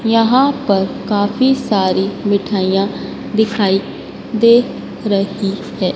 यहां पर काफी सारी मिठाइयां दिखाई दे रही है।